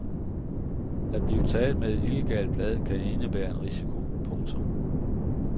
At blive taget med et illegalt blad kan indebære en risiko. punktum